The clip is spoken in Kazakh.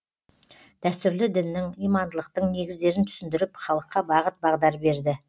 дәстүрлі діннің имандылықтың негіздерін түсіндіріп халыққа бағыт бағдар берді